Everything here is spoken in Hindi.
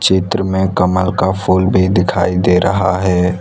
चित्र में कमल का फूल भी दिखाई दे रहा है।